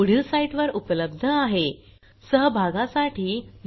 ह्या ट्युटोरियलचे भाषांतर मनाली रानडे यांनी केले असून मी रंजना भांबळे आपला निरोप घेते